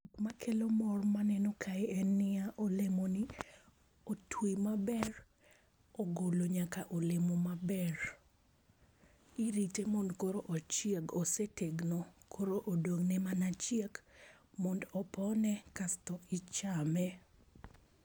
Ma kelo mor ma aneno kae en ni ya, olemo ni otwi ma ber ogolo nyaka olemo ma ber irito mond koro ochieg ,osetegno koro odong' ne mana chiek mondo opone kasto ichame.